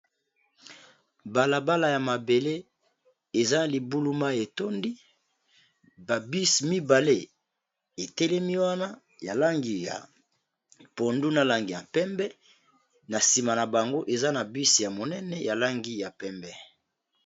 balabala ya mabele eza libuluma etondi babisi mibale etelemi wana ya langi ya phondu na langi ya pembe na nsima na bango eza na bis ya monene ya langi ya mpembe